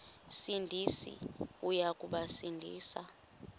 sindisi uya kubasindisa